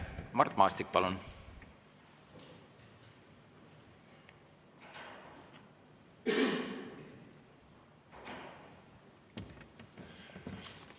Mart Maastik, palun!